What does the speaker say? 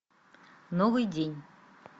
новый день